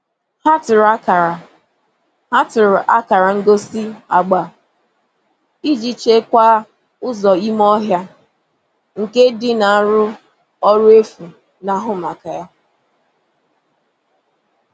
Ha tụrụ akara Ha tụrụ akara ngosi agba iji chekwaa ụzọ ime ọhịa nke dị na arụ ọrụ efu na-ahụ maka ya.